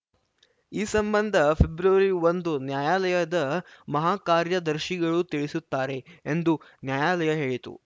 ಈ ಸಂಬಂಧ ಫೆಬ್ರವರಿ ಒಂದು ನ್ಯಾಯಾಲಯದ ಮಹಾಕಾರ್ಯದರ್ಶಿಗಳು ತಿಳಿಸುತ್ತಾರೆ ಎಂದು ನ್ಯಾಯಾಲಯ ಹೇಳಿತು